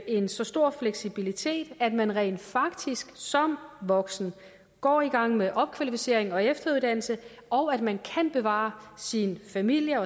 en så stor fleksibilitet at man rent faktisk som voksen går i gang med opkvalificering og efteruddannelse og at man kan bevare sit familie